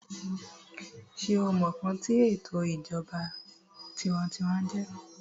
sé o mọ ǹkan tí ètò ìṣèjọba tinwatinwa jẹ́?